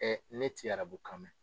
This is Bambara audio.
ne ti arabukan mɛn.